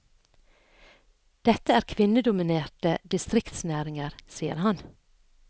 Dette er kvinnedominerte distriktsnæringer, sier han.